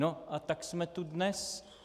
No a tak jsme tu dnes.